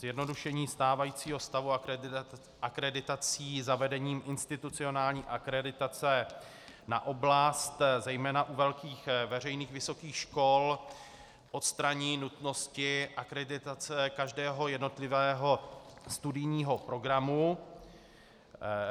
Zjednodušení stávajícího stavu akreditací zavedením institucionální akreditace na oblast, zejména u velkých veřejných vysokých škol, odstranění nutnosti akreditace každého jednotlivého studijního programu.